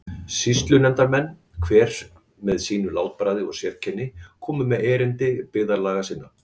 Sýslunefndarmenn, hver með sínu látbragði og sérkenni, komu með erindi byggðarlaga sinna.